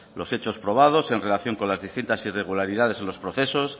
los hechos probados en relación con las distintas irregularidades en los procesos